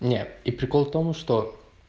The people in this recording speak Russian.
нет и прикол в том что